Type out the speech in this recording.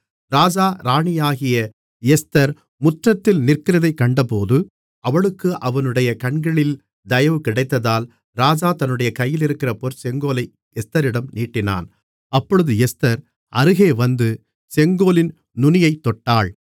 ராஜா ராணியாகிய எஸ்தர் முற்றத்தில் நிற்கிறதைக் கண்டபோது அவளுக்கு அவனுடைய கண்களில் தயவு கிடைத்ததால் ராஜா தன்னுடைய கையிலிருக்கிற பொற் செங்கோலை எஸ்தரிடம் நீட்டினான் அப்பொழுது எஸ்தர் அருகே வந்து செங்கோலின் நுனியைத் தொட்டாள்